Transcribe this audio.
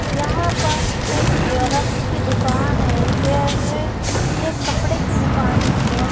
यहां पास एक जेरॉक्स की दुकान है यरे ये कपड़े की दुकान भी है।